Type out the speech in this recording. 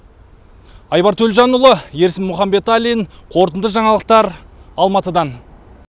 айбар төлжанұлы ерсін мұханбеталин қорытынды жаңалықтар алматыдан